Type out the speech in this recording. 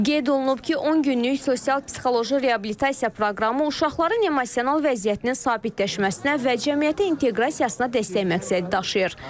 Qeyd olunur ki, 10 günlük sosial-psixoloji reabilitasiya proqramı uşaqların emosional vəziyyətinin sabitləşməsinə və cəmiyyətə inteqrasiyasına dəstək məqsədi daşıyır.